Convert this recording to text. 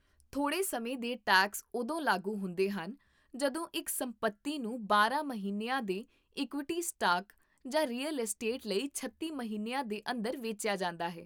ਥੋੜ੍ਹੇ ਸਮੇਂ ਦੇ ਟੈਕਸ ਉਦੋਂ ਲਾਗੂ ਹੁੰਦੇ ਹਨ ਜਦੋਂ ਇੱਕ ਸੰਪੱਤੀ ਨੂੰ ਬਾਰਾਂ ਮਹੀਨਿਆਂ ਦੇ ਇਕੁਇਟੀ ਸਟਾਕ ਜਾਂ ਰੀਅਲ ਅਸਟੇਟ ਲਈ ਛੱਤੀ ਮਹੀਨਿਆਂ ਦੇ ਅੰਦਰ ਵੇਚਿਆ ਜਾਂਦਾ ਹੈ